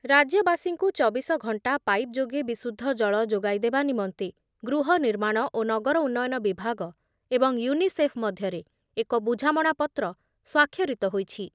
ରାଜ୍ୟବାସୀଙ୍କୁ ଚବିଶ ଘଣ୍ଟା ପାଇପ୍ ଯୋଗେ ବିଶୁଦ୍ଧ ଜଳ ଯୋଗାଇଦେବା ନିମନ୍ତେ ଗୃହନିର୍ମାଣ ଓ ନଗର ଉନ୍ନୟନ ବିଭାଗ ଏବଂ ୟୁନିସେଫ୍ ମଧ୍ୟରେ ଏକ ବୁଝାମଣାପତ୍ର ସ୍ୱାକ୍ଷରିତ ହୋଇଛି ।